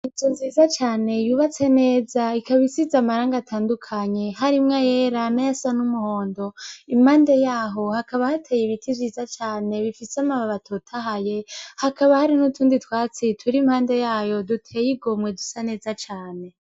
Inzu nziza cane, yubatse neza ikaba isize amarangi atandukanye harimwo ayera n'ayasa n'umuhondo, impande yaho hakaba hatey'ibiti vyiza cane, bifis'amababi atotahaye, hakaba hariho n'utundi twatsi tur'impande yayo dutey'igomwe dusa neza.